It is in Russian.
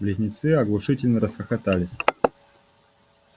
близнецы оглушительно расхохотались